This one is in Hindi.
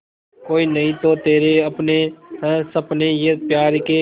कोई नहीं तो तेरे अपने हैं सपने ये प्यार के